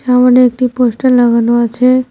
সামনে একটি পোস্টার লাগানো আছে।